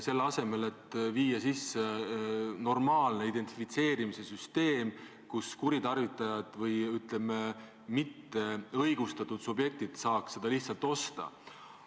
Selle asemel võiks luua normaalse identifitseerimise süsteemi, mis ei laseks kuritarvitajatel või, ütleme, mitteõigustatud subjektidel seda osta.